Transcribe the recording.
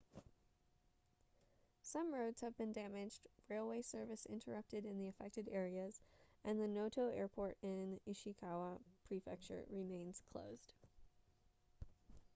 some roads have been damaged railway service interrupted in the affected areas and the noto airport in ishikawa prefecture remains closed